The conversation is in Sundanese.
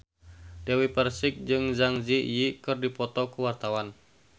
Dewi Persik jeung Zang Zi Yi keur dipoto ku wartawan